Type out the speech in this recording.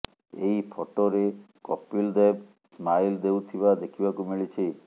ଏହି ଫଟୋରେ କପିଲ୍ ଦେବ ସ୍ମାଇଲ୍ ଦେଉଥିବା ଦେଖିବାକୁ ମିଳିଛି